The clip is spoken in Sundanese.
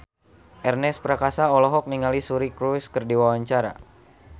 Ernest Prakasa olohok ningali Suri Cruise keur diwawancara